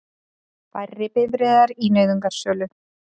Færri bifreiðar í nauðungarsölu